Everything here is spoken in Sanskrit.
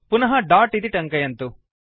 पुनः दोत् इति टङ्कयन्तु